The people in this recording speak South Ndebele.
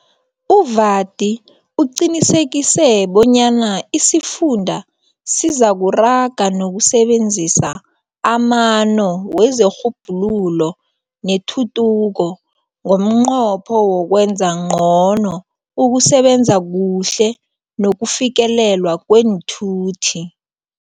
U-Vadi uqinisekise bonyana isifunda sizakuraga nokusebenzisa amano wezerhubhululo netuthuko ngomnqopho wokwenza ngcono ukusebenza kuhle nokufikeleleka kweenthuthi.